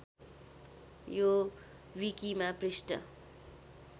यो विकिमा पृष्ठ